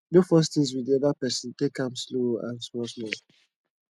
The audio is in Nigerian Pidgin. no force things with di oda person take am slow and small small